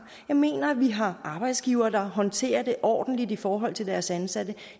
jeg mener at vi har arbejdsgiverne der håndterer det ordentligt i forhold til deres ansatte